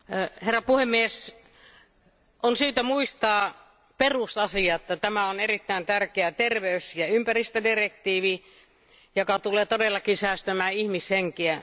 Arvoisa puhemies, on syytä muistaa perusasia tämä on erittäin tärkeä terveys ja ympäristödirektiivi, joka tulee todellakin säästämään ihmishenkiä.